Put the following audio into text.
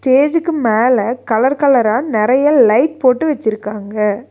ஸ்டேஜ்க்கு மேல கலர் கலரா நறையா லைட் போட்டு வச்சுருக்காங்க.